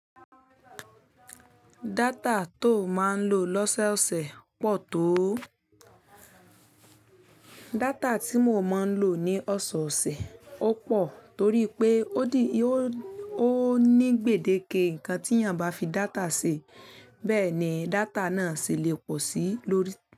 Data to máa ń lò lọ́sọ̀ọ̀sẹ̀ pọ̀ tó. Data tí mo máa ń lò ní ọ̀ṣọ̀ọ̀sẹ̀ ó pọ̀ torí pé ó ní gbèdéke nǹkan tí ènìyàn bá fi data ṣe. Bẹ́ẹ̀ ni data náà sì lè pọ̀ sí lórí.